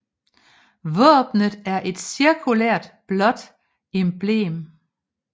Våbnet er et cirkulært blåt emblem